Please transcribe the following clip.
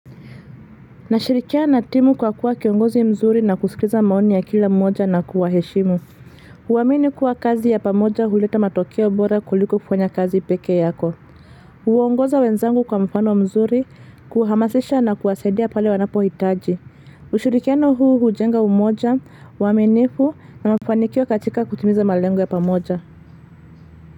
Nashirikiana na timu kwa kuwa kiongozi mzuri na kusikiza maoni ya kila mmoja na kuwaheshimu. Uamini kuwa kazi ya pamoja huleta matokeo bora kuliko kufanya kazi peke yako. Uongoza wenzangu kwa mfano mzuri, kuhamasisha na kuwasaidia pale wanapohitaji. Ushirikiano huu hujenga umoja, uaminifu na mfanikio katika kutimiza malengo ya pamoja.